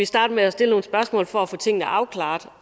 startet med at stille nogle spørgsmål for at få tingene afklaret